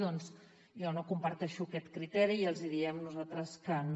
doncs jo no comparteixo aquest criteri i els hi diem nosaltres que no